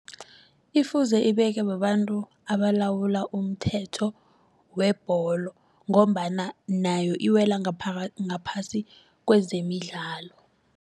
Ifuze ibekwe babantu abalawula umthetho webholo ngombana nayo iwela ngaphasi kwezemidlalo.